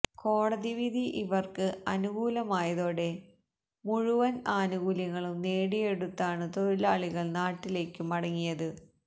കോടതി വിധി ഇവർക്ക് അനുകൂലമായതോടെ മുഴുവൻ ആനുകൂല്യങ്ങളും നേടിയെടുത്താണു തൊഴിലാളികൾ നാട്ടിലേക്കു മടങ്ങിയത്